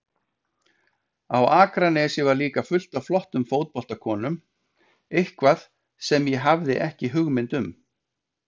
Á Akranesi var líka fullt af flottum fótboltakonum, eitthvað sem ég hafði ekki hugmynd um.